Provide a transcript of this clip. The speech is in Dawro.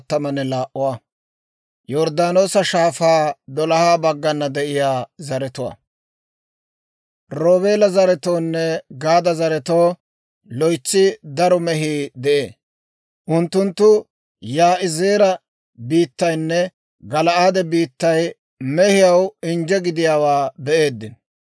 Roobeela zaretoonne Gaada zaretoo loytsi daro mehii de'ee. Unttunttu Yaa'izeera biittaynne Gala'aade biittay mehiyaw injje gidiyaawaa be'eeddino.